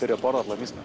að borða allar mýsnar